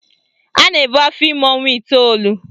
A na-ebu afọime ọnwa iteolu